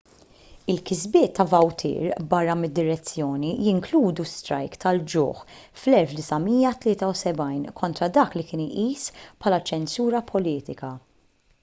il-kisbiet ta' vautier barra mid-direzzjoni jinkludu strajk tal-ġuħ fl-1973 kontra dak li kien iqis bħala ċensura politika